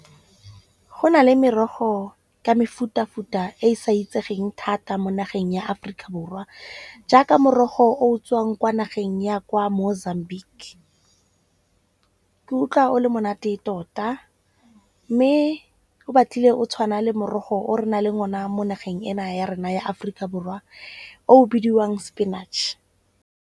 Go na le merogo ka mefutafuta e e sa itsegeng thata mo nageng ya Aforika Borwa, jaaka morogo o tswang kwa nageng ya kwa Mozambique. Ke utlwa o le monate tota. Mme o batlile o tshwana le morogo o re na leng ona mo nageng ena ya rona ya Aforika Borwa o bidiwang spinach.